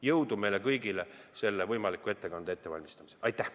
Jõudu meile kõigile selle võimaliku ettekande ettevalmistamisel!